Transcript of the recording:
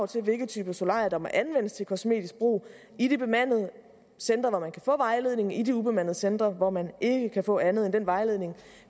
til hvilke typer solarier der må anvendes til kosmetisk brug i de bemandede centre hvor man kan få vejledning og i de ubemandede centre hvor man ikke kan få andet end den vejledning